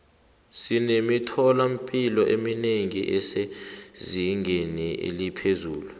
sinemithola mpilo eminengi esezingeni eliphezulu